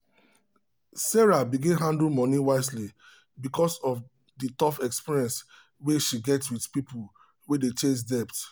sarah begin handle money wisely because of the tough experience wey she get with people wey dey chase debt.